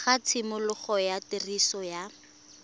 ga tshimologo ya tiriso ya